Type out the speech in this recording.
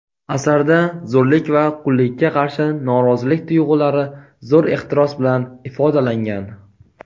Asarda zo‘rlik va qullikka qarshi norozilik tuyg‘ulari zo‘r ehtiros bilan ifodalangan.